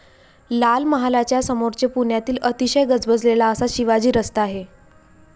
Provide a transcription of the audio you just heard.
लाल महालाच्या समोरचे पुण्यातील अतिशय गजबजलेला असा शिवाजी रस्ता आहे.